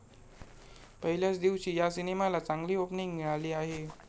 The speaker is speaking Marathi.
पहिल्याच दिवशी या सिनेमाला चांगली ओपनिंग मिळाली आहे.